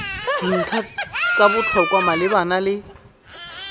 dintlha tsa botlhokwa malebana le